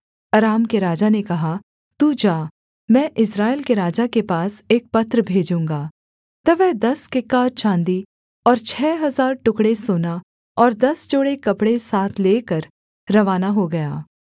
अराम के राजा ने कहा तू जा मैं इस्राएल के राजा के पास एक पत्र भेजूँगा तब वह दस किक्कार चाँदी और छः हजार टुकड़े सोना और दस जोड़े कपड़े साथ लेकर रवाना हो गया